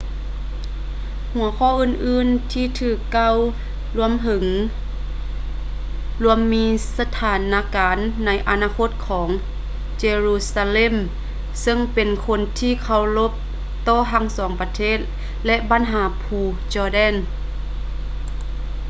ຫົວຂໍ້ອື່ນໆທີ່ຖືກກ່າວເຖິງລວມມີສະຖານະການໃນອະນາຄົດຂອງ jerusalem ເຊິ່ງເປັນທີ່ເຄົາລົບຕໍ່ທັງສອງປະເທດ ແລະ ບັນຫາພູ jordan